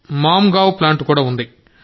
Mangaon plant కూడా ఉంది